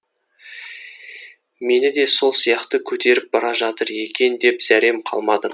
мені де сол сияқты көтеріп бара жатыр екен деп зәрем қалмады